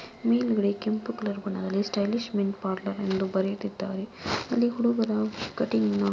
ಮೇಲ್ಗಡೆ ಕೆಂಪು ಕಲರ್ ಬಣ್ಣದಲ್ಲಿ ಸ್ಟೈಲಿಶ್ ಮೆನ್ಸ್ ಪಾರ್ಲರ್ ಎಂದು ಬರೆದಿದ್ದಾರೆ. ಅಲ್ಲಿ ಹುಡುಗರ ಕಟಿಂಗ್--